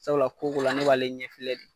Sabula ko dɔ la ne b'ale ɲɛ filɛ de.